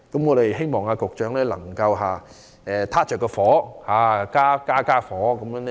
我希望局長能夠"開大火"，以便更快烹調好菜餚。